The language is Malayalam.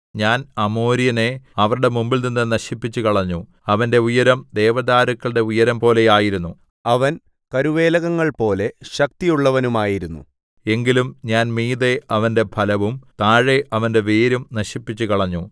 ഞാൻ അമോര്യനെ അവരുടെ മുമ്പിൽനിന്ന് നശിപ്പിച്ചുകളഞ്ഞു അവന്റെ ഉയരം ദേവദാരുക്കളുടെ ഉയരംപോലെയായിരുന്നു അവൻ കരുവേലകങ്ങൾപോലെ ശക്തിയുള്ളവനുമായിരുന്നു എങ്കിലും ഞാൻ മീതെ അവന്റെ ഫലവും താഴെ അവന്റെ വേരും നശിപ്പിച്ചുകളഞ്ഞു